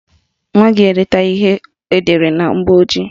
Nwa gị edetaghị ihe edere na mgbọojii